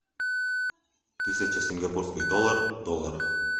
тысяча сингапурских долларов в долларах